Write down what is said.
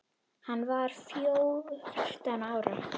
Hann var fjórtán ára.